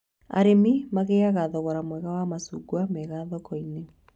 Arĩmi magĩaga thogora mwega wa macungwa mega thoko-inĩ